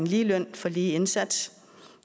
lige løn for lige indsats